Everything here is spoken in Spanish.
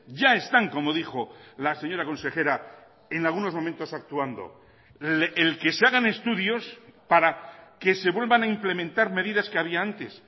ya están como dijo la señora consejera en algunos momentos actuando el que se hagan estudios para que se vuelvan a implementar medidas que había antes